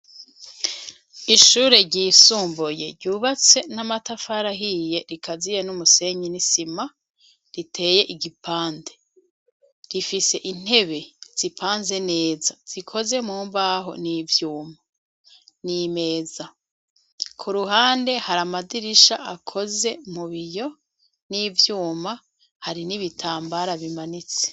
Ishure ryisumbuye ryubatse n'amatafarahiye rikaziye n'umusenyi n'isima riteye igipande rifise intebe zipanze neza zikoze mu mbaho n'ivyuma n'i meza, ku ruhande hari amadirisha akoze mubiyo n'ivyuma hari n'ibitambara bimanitse.